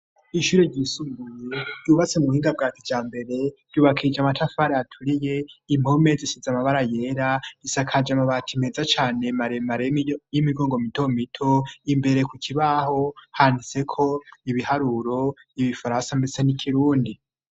Ishuri ryisumbuye, ryubatse mu buhinga bwa kijambere, ryubakishije amatafari aturiye, impome zisize amabara yera, risakaje amabati meza cane maremare y'imigongo mito mito, imbere ku kibaho, handiseko ibiharuro, ibifaransa, mbetse n'ikirundi.